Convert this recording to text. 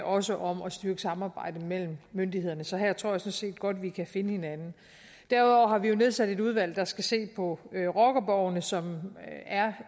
også om at styrke samarbejdet mellem myndighederne så her tror jeg sådan set godt vi kan finde hinanden derudover har vi jo nedsat et udvalg der skal se på rockerborgene som er